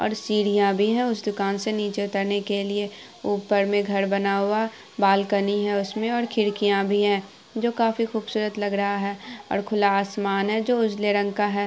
और सीढ़िया भी है उस दुकान से नीचे उतरने के लिए ऊपर में घर बना हुआ बालकनी है उसमे और खिड़किया भी है जो काफी ख़ूबसूरत लग रहा है और खुला आसमान है जो उजले रंग का है।